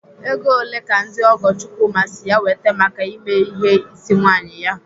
Ego ole ka ndị ọgọ Chukwuma si ya wete maka ime ihe ịsị nwaanyị ya?